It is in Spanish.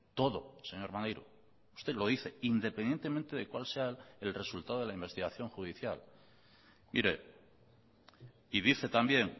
todo señor maneiro usted lo dice independientemente de cuál sea el resultado de la investigación judicial mire y dice también